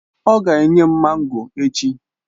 Ọ ga enye m mango echi.